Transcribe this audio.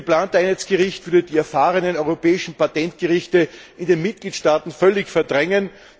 Das geplante Einheitsgericht würde die erfahrenen europäischen Patentgerichte in den Mitgliedstaaten völlig verdrängen.